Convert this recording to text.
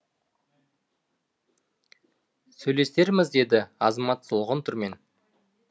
сөйлесерміз деді азамат солғын түрмен